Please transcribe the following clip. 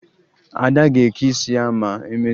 Ada ga-eke isi ya ma emesịa